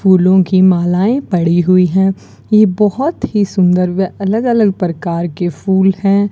फूलों की मालाएं पड़ी हुई हैं ये बहोत ही सुंदर व अलग अलग प्रकार के फूल हैं।